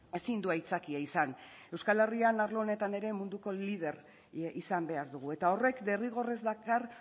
ezin du aitzakia izan euskal herrian arlo honetan ere munduko lider izan behar dugu eta horrek derrigorrez dakar